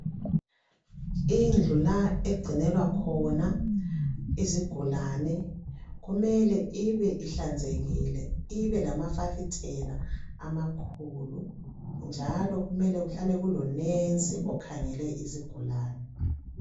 Indlu la egcinelwa khona izigulane kumele ibe ihlanzekile ibe lamafasitela amakhulu njalo kumele kuhlale kulonensi okhangele izigulani.